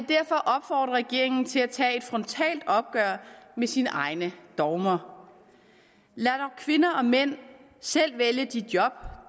derfor opfordre regeringen til at tage et frontalt opgør med sine egne dogmer lad dog kvinder og mænd selv vælge de job